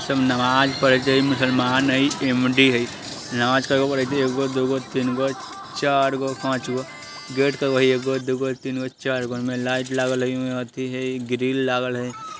इ सब नमाज़ पढ़त हई मुसलमान हई नमाज़ कईगो पड़इत हई एगो दुगो तीनगो चारगो पांचगो गेट कईगो हई एगो दुगो तीनगो चारगो इमे लाइट लागल हई बत्ती हई ग्रिल लागल हई।